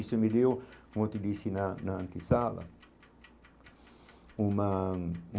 Isso me deu, como eu te disse, na na antissala uma.